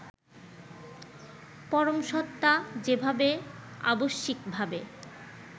পরমসত্তা যেভাবে আবশ্যিকভাবে